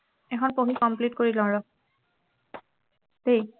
এখন পঢ়ি complete কৰি লও ৰহ দেই